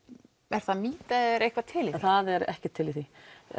er það mýta eða er eitthvað til í það er ekkert til í því